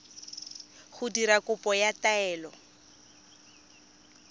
go dira kopo ya taelo